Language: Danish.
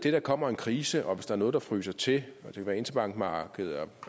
at der kommer en krise og at der er noget der fryser til det kan være interbankmarkedet